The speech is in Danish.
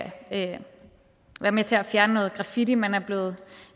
være med til at fjerne noget graffiti man er blevet